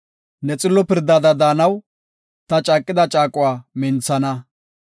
Ne xillo pirdada daanaw, ta caaqida caaquwa minthana.